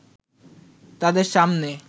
তাদের সামনে